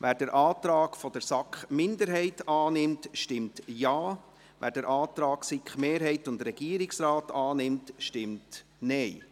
Wer den Antrag der SiK-Minderheit annimmt, stimmt Ja, wer den Antrag SiK-Mehrheit und Regierungsrat annimmt, stimmt Nein.